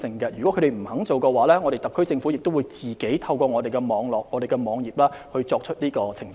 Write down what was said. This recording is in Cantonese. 如果他們不願意這樣做，特區政府也會自行在政府網頁上作出澄清。